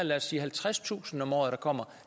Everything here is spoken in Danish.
lad os sige halvtredstusind om året